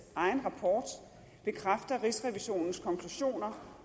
egen rapport bekræfter rigsrevisionens konklusioner